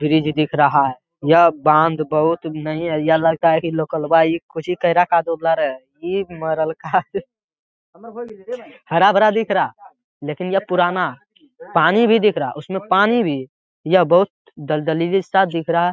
Bridge दिख रहा यह बांध बहुत नहीं है यह लगता है की लोकलवा इ कोच्ची इ मरलका हरा भरा दिख रहा लेकिन यह पुराना पानी भी दिख रहा उसमे पानी भी यह बहुत दलदल जैसा दिख रहा है।